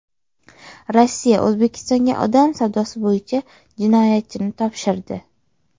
Rossiya O‘zbekistonga odam savdosi bo‘yicha jinoyatchini topshirdi.